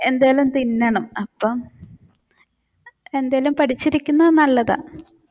എന്തേലും തിന്നണം അപ്പോ എന്തേലും പഠിച്ചിരിക്കുന്നത് നല്ലതാണ്.